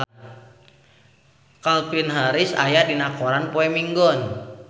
Calvin Harris aya dina koran poe Minggon